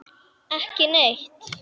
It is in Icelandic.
Ekki neitt